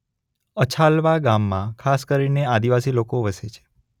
અછાલવા ગામમાં ખાસ કરીને આદિવાસી લોકો વસે છે.